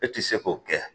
E ti se k'o kɛ